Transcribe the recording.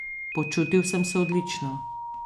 Počutil sem se odlično.